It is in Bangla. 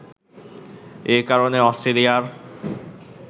এ কারণে অস্ট্রেলিয়ার